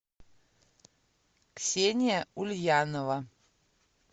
ксения ульянова